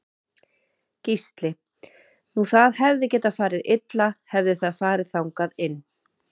Gísli: Nú það hefði getað farið illa hefði það farið þangað inn?